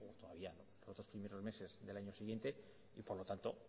o en los tres primeros meses del año siguiente y por lo tanto